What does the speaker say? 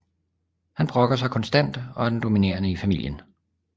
Han brokker sig konstant og er den dominerende i familien